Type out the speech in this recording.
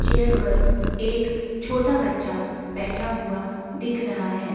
Chair पर एक छोटा बच्चा बैठा हुआ दिख रहा है।